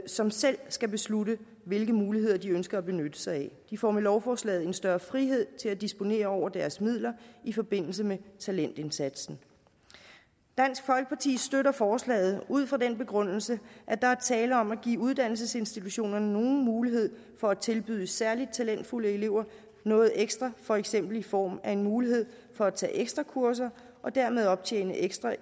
som selv skal beslutte hvilke muligheder de ønsker at benytte sig af de får med lovforslaget en større frihed til at disponere over deres midler i forbindelse med talentindsatsen dansk folkeparti støtter forslaget ud fra den begrundelse at der er tale om at give uddannelsesinstitutionerne nogen mulighed for at tilbyde særlig talentfulde elever noget ekstra for eksempel i form af en mulighed for at tage ekstra kurser og dermed optjene ekstra